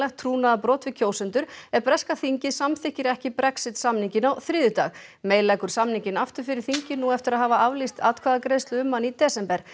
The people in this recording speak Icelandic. trúnaðarbrot við kjósendur ef breska þingið samþykkir ekki Brexit samninginn á þriðjudag May leggur samninginn aftur fyrir þingið nú eftir að hafa aflýst atkvæðagreiðslu um hann í desember